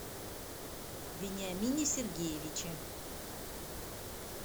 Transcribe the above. вениамине сергеевиче